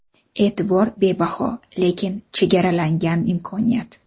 E’tibor bebaho, lekin chegaralangan imkoniyat.